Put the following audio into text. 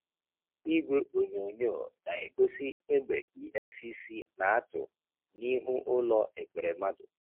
Igwe onyonyo na-egosi egbe EFCC na-atụ n’ihu ụlọ Ekweremadu.